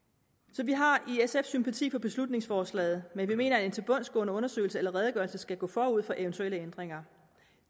så vi har i sf sympati for beslutningsforslaget men vi mener at en tilbundsgående undersøgelse eller redegørelse skal gå forud for eventuelle ændringer